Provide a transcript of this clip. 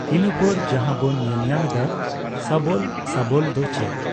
ᱤᱱᱟᱹᱯᱚᱨ ᱡᱟᱦᱟᱸ ᱵᱚᱱ ᱧᱮᱞᱧᱟᱢ ᱮᱫᱟ ᱥᱟᱵᱚᱞ᱾ ᱥᱟᱵᱚᱞ ᱫᱚ ᱪᱮᱫ?